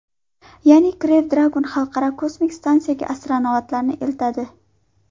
Ya’ni Crew Dragon Xalqaro kosmik stansiyasiga astronavtlarni eltadi.